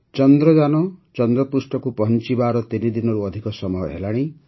ଚନ୍ଦ୍ରଯାନ ଚନ୍ଦ୍ରପୃଷ୍ଠକୁ ପହଂଚିବାର ତିନି ଦିନରୁ ଅଧିକ ସମୟ ହେଲାଣି